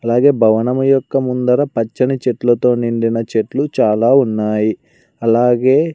అలాగే భవనం యొక్క ముందర పచ్చని చెట్లతో నిండిన చెట్లు చాలా ఉన్నాయి అలాగే.